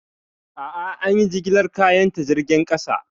A'a, an yi jigilar kayan ta jirgin ƙasa.